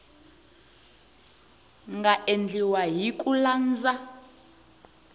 nga endliwa hi ku landza